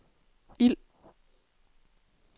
ild